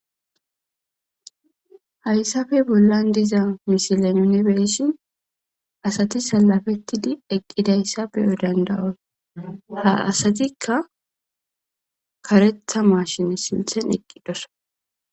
Hayssafe bollan diza misile yunibeeshin asati salafettidi eqqidayssa beyo dandawosa ha asatikka karetha maashine silthen eqqidosa.